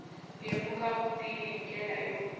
lemuka vutivi hi ndlela yo